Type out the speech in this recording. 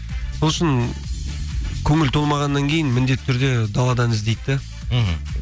сол үшін көңіл толмағаннан кейін міндетті түрде даладан іздейді де мхм